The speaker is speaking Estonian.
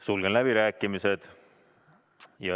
Sulgen läbirääkimised.